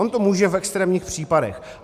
On to může v extrémních případech.